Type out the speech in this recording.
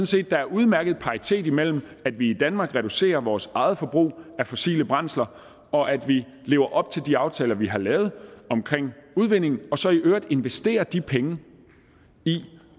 set at der er udmærket paritet imellem at vi i danmark reducerer vores eget forbrug af fossile brændsler og at vi lever op til de aftaler vi har lavet omkring udvinding og så i øvrigt investerer de penge i